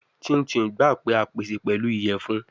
Chin chin gba pe a pese pẹlu iyẹfun